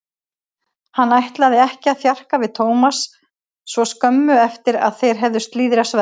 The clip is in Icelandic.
Hann ætlaði ekki að þjarka við Thomas svo skömmu eftir að þeir höfðu slíðrað sverðin.